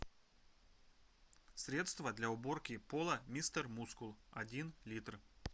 средство для уборки пола мистер мускул один литр